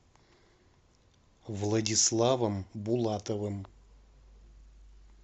владиславом булатовым